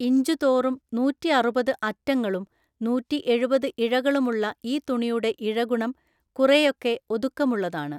ഇഞ്ചുതോറും നൂറ്റിഅറുപത് അറ്റങ്ങളും നൂറ്റിഎഴുപത് ഇഴകളുമുള്ള ഈ തുണിയുടെ ഇഴഗുണം കുറെയൊക്കെ ഒതുക്കമുള്ളതാണ്.